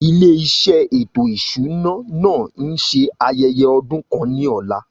Ilé iṣẹ́ ètò ìṣúná náà ń ṣe ayẹyẹ ọdún kan ní ọ̀la